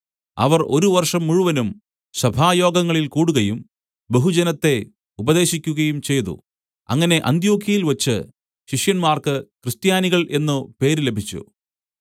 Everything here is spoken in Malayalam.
അവർ ഒരു വർഷം മുഴുവനും സഭായോഗങ്ങളിൽ കൂടുകയും ബഹുജനത്തെ ഉപദേശിക്കുകയും ചെയ്തു അങ്ങനെ അന്ത്യൊക്യയിൽവച്ച് ശിഷ്യന്മാർക്ക് ക്രിസ്ത്യാനികൾ എന്നു പേര് ലഭിച്ചു